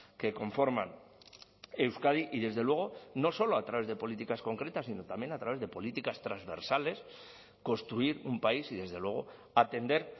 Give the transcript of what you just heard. que conforman euskadi y desde luego no solo a través de políticas concretas sino también a través de políticas transversales construir un país y desde luego atender